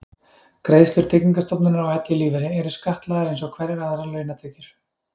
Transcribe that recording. greiðslur tryggingastofnunar á ellilífeyri eru skattlagðar eins og hverjar aðrar launatekjur